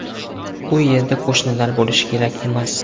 U yerda qo‘shinlar bo‘lishi kerak emas.